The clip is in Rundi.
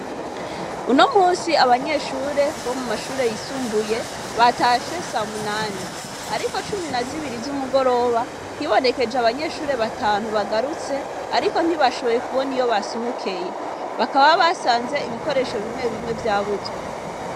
Uno musi abanyeshure bo mu mashure yisumbuye batashe samunane, ariko cumi na zibiri z'umugoroba nhibonekeje abanyeshure batantu bagarutse, ariko ntibashoboye kubona iyo basohokeye bakaba basanze ibikoresho bimwe bimwe vyabuzwe.